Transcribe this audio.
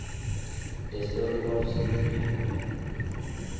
the story of steve biko